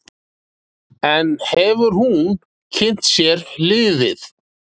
En hefur hún kynnt sér liðið?